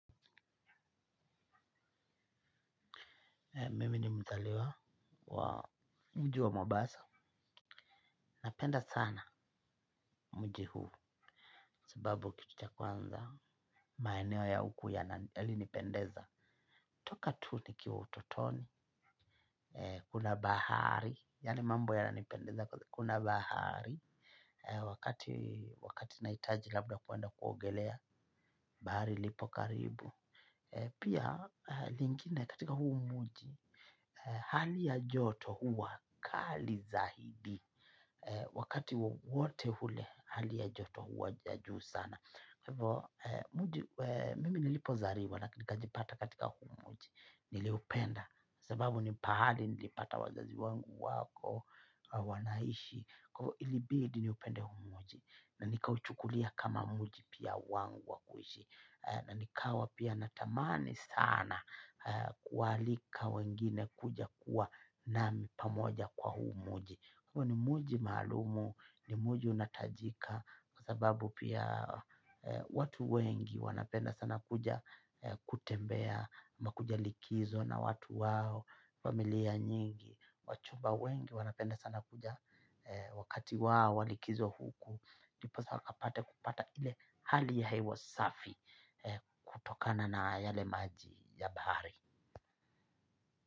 Mimi ni mzaliwa wa mji wa Mombasa. Napenda sana mji huu. Sababu kitu cha kwanza. Maeneo ya huku yalinipendeza. Toka tu nikiwa utotoni. Kuna bahari. Yaani mambo yananipendeza kuna bahari. Wakati wakati nahitaji labda kwenda kuogelea bahari lipo karibu. Pia lingine katika huu mji. Hali ya joto huwa kali zaidi wakati wowote ule hali ya joto huwa ya juu sana kwa hivyo mimi nilipozaliwa na nikajipata katika huu mji niliupenda sababu ni pahali nilipata wazazi wangu wako wanaishi kwa hivyo ilibidi niupende huu mji na nikauchukulia kama mji pia wangu wa kuishi na nikawa pia natamani sana kualika wengine kuja kuwa nami pamoja kwa huu mji huu ni mji maalumu ni mji unatajika kwa sababu pia watu wengi wanapenda sana kuja kutembea ama kuja likizo na watu wao familia nyingi wachumba wengi wanapenda sana kuja wakati wao wa likizo huku. Ndiposa wakapate kupata ile hali ya hewa safi kutokana na yale maji ya bahari.